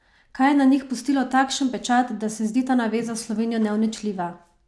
Kaj je na njih pustilo takšen pečat, da se zdi ta naveza s Slovenijo neuničljiva?